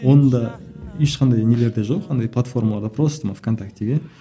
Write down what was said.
оны да ешқандай нелерде жоқ андай платформада просто мына в контактіге